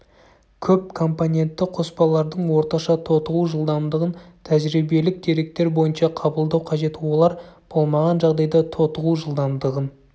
көп компонентті қоспалардың орташа тотығу жылдамдығын тәжірибелік деректер бойынша қабылдау қажет олар болмаған жағдайда тотығу жылдамдығын